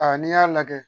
n'i y'a lajɛ